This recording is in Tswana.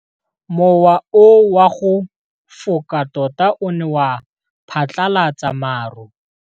Mowa o wa go foka tota o ne wa phatlalatsa maru.